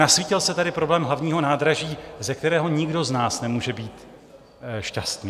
Nasvítil se tady problém hlavního nádraží, ze kterého nikdo z nás nemůže být šťastný.